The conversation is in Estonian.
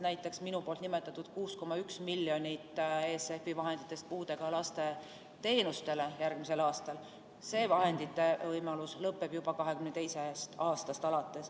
Näiteks minu nimetatud 6,1 miljonit ESF-i vahenditest puudega laste teenustele järgmisel aastal, see võimalus lõpeb juba 2022. aastast.